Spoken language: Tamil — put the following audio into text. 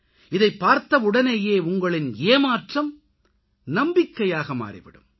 இதைப் பார்த்தவுடனேயே உங்களின் ஏமாற்றம் நம்பிக்கையாக மாறிவிடும்